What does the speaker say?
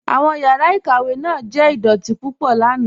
Awọn yàrá ikàwé náà jẹ̀ idọ̀tì púpọ̀ lànà.